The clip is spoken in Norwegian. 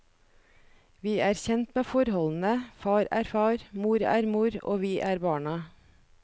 Vi er kjent med forholdene, far er far, mor er mor, og vi er barna.